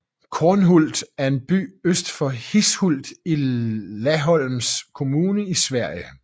Kornhult er en by øst for Hishult i Laholms kommun i Sverige